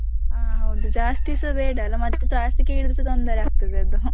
ಹಾ ಹೌದು ಜಾಸ್ತಿಸ ಬೇಡ ಅಲ್ಲ ಮತ್ತೆ ಜಾಸ್ತಿ ಕೇಳಿದ್ರೆಸ ತೊಂದರೆ ಆಗ್ತದೆ ಅದು.